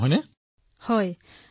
হয় মই খুব মিছ কৰো